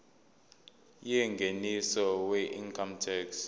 yengeniso weincome tax